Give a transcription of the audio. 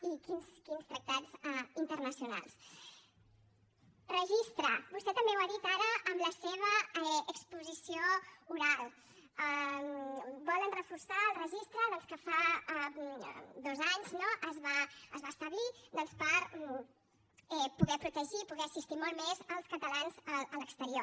i quins tractats internacionals registre vostè també ho ha dit ara en la seva exposició oral volen reforçar el registre que fa dos anys es va establir per poder protegir poder assistir molt més els catalans a l’exterior